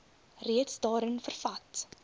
reeds daarin vervat